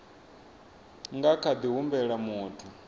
nga kha ḓi humbela muthu